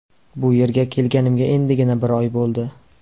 Bu yerga kelganimga endigina bir oy bo‘ldi.